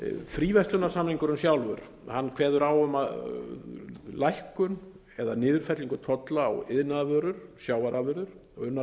fríverslunarsamningurinn sjálfur kveður á um lækkun eða niðurfellingu tolla á iðnaðarvörur sjávarafurðir og unnar